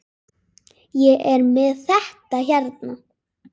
Ég er með þetta hérna.